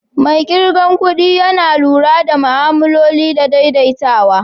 Mai kirgan kudi Yana lura da ma'amloli da daidaitawa.